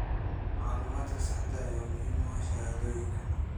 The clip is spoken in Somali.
Macluumaadka saxda ah ayaa muhiim u ah shahaadooyinka.